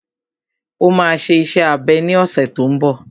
Ó máa ṣe iṣẹ́ abẹ ní ọ̀sẹ̀ tó n bọ̀